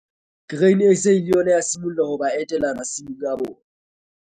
Grain SA le yona ya simolla ho ba etela masimong a bona.